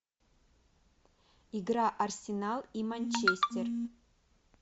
игра арсенал и манчестер